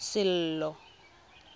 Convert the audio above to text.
sello